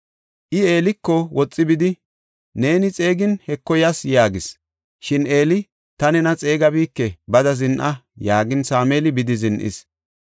I Eeliko woxi bidi, “Neeni xeegin Heko yas” yaagis. Shin Eeli, “Ta nena xeegabike; bada zin7a” yaagin, Sameeli bidi zin7is.